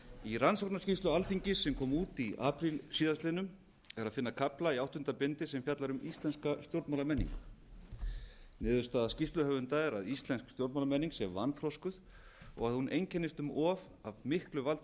í rannsóknarskýrslu alþingis sem kom út í apríl síðastliðnum er að finna kafla í áttunda bindi sem fjallar um íslenska stjórnmálamenningu niðurstaða skýrsluhöfunda er að íslensk stjórnmálamenning sé vanþroskuð og að hún einkennist um of af miklu valdi